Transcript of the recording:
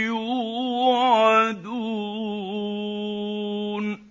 يُوعَدُونَ